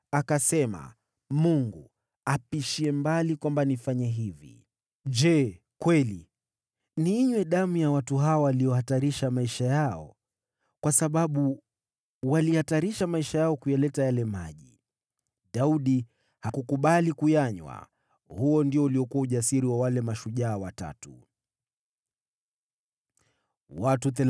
Akasema, “Mungu apishie mbali kwamba nifanye hivi! Je kweli, niinywe damu ya watu hawa waliohatarisha maisha yao?” Kwa sababu walihatarisha maisha yao kuyaleta yale maji, Daudi hakukubali kuyanywa. Huo ndio uliokuwa ujasiri wa wale mashujaa watatu.